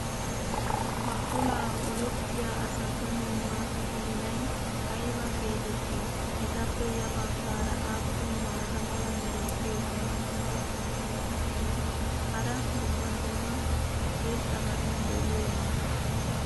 ha olaa olettiya asatu makiinay ayba geetettii? etappe ya bagaara aappun maata mala meray diyo dumma dumma qommo mitattinne hara dumma dumma irxxabati de'iyoonaa?